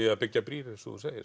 að byggja brýr eins og þú segir